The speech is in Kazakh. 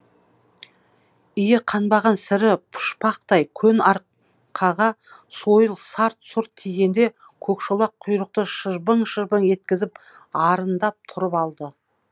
иі қанбаған сірі пұшпақтай көн арқаға сойыл сарт сұрт тигенде көкшолақ құйрықты шыбжың шыбжың еткізіп арындап тұрып алды